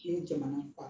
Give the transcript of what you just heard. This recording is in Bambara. N'i ye jamana faa